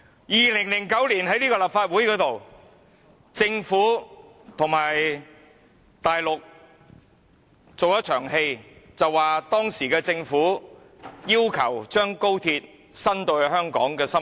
2009年，政府和大陸在立法會做了一場戲，當時的政府要求把高鐵延伸至香港的心臟。